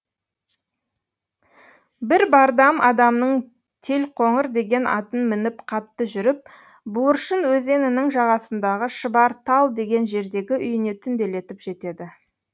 бір бардам адамның телқоңыр деген атын мініп қатты жүріп буыршын өзенінің жағасындағы шыбар тал деген жердегі үйіне түнделетіп жетеді